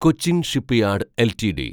Cochin shipyard LTD